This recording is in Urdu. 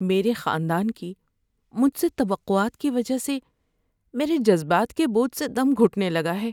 میرے خاندان کی مجھ سے توقعات کی وجہ سے میرے جذبات کے بوجھ سے دم گھُٹنے لگا ہے۔